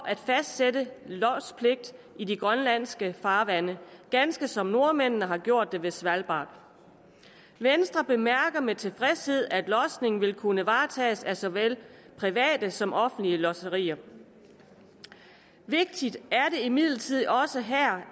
at fastsætte lodspligt i de grønlandske farvande ganske som nordmændene har gjort det ved svalbard venstre bemærker med tilfredshed at lodsning vil kunne varetages af såvel private som offentlige lodserier vigtigt er det imidlertid også